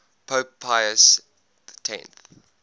pope pius x